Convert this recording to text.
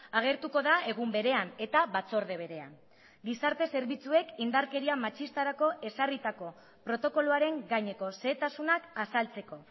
agertuko da egun berean eta batzorde berean gizarte zerbitzuek indarkeria matxistarako ezarritako protokoloaren gaineko xehetasunak azaltzeko